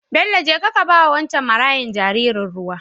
Bello jeka kaba wancen marayan jaririn ruwa